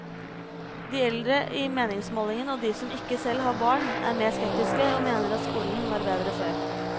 De eldre i meningsmålingen og de som ikke selv har barn, er mer skeptiske og mener skolen var bedre før.